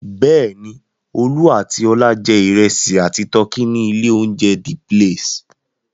Bẹ́ẹ̀ ni, Olú àti Ọlá jẹ ìrẹsì àti tọkí ní ilé-oúnjẹ The Place.